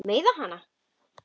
Meiða hana.